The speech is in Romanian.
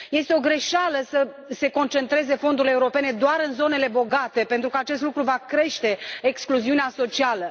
Este o greșeală să se concentreze fondurile europene doar în zonele bogate, pentru că acest lucru va crește excluziunea socială.